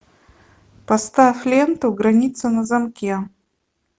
поставь ленту граница на замке